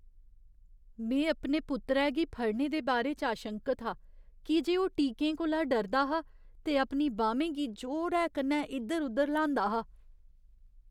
में अपने पुत्तरै गी फड़ने दे बारे च आशंकत हा की जे ओह् टीकें कोला डरदा हा ते अपनी बाह्में गी जोरै कन्नै इद्धर उद्धर ल्हांदा हा।